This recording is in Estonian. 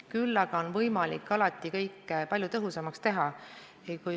Küll aga on võimalik alati kõike palju tõhusamaks teha.